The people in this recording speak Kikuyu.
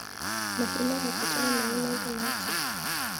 Mahiũ marabatara maĩ maigana atĩa.